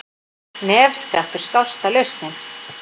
Nefskattur skásta lausnin